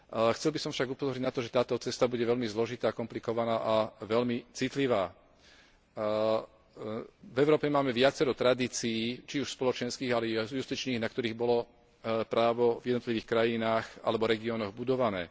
Chcel by som však upozorniť na to, že táto cesta bude veľmi zložitá, komplikovaná a veľmi citlivá. V Európe máme viacero tradícií, či už spoločenských, ale i justičných, na ktorých bolo právo v jednotlivých krajinách alebo regiónoch budované.